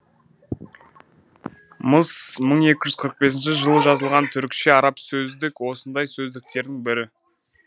мыс мың екі жүз қырық бесінші жылы жазылған түрікше арабша сөздік осындай сөздіктердің бірі